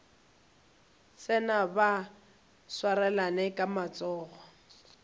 tsena ba swarane ka matsogo